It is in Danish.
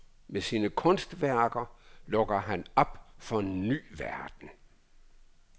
Med sine kunstværker lukker han op for en ny verden.